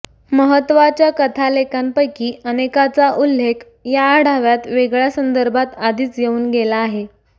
महत्त्वाच्या कथालेखकांपैकी अनेकाचा उल्लेख या आढाव्यात वेगळ्या संदर्भात आधीच येऊन गेला आहे